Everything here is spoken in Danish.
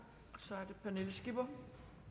jo